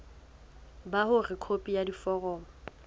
ba hore khopi ya foromo